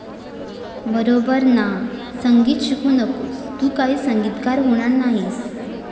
बरोबर ना? संगीत शिकू नकोस, तू काही संगीतकार होणार नाहीस.